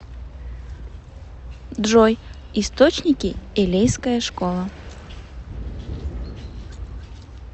джой источники элейская школа